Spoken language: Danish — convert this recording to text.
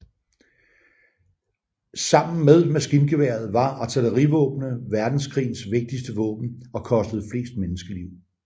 Sammen med maskingeværet var artillerivåbnene verdenskrigens vigtigste våben og kostede flest menneskeliv